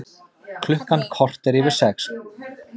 Klukkan korter yfir sex